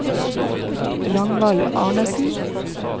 Ragnvald Arnesen